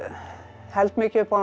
held mikið upp á hana